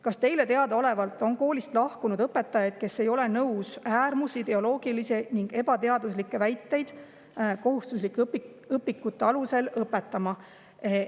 "Kas Teile teadaolevalt on koolist lahkunud õpetajaid, kes ei ole nõus äärmusideoloogilisi ning ebateaduslikke väiteid kohustuslike õpikute alusel õpetama?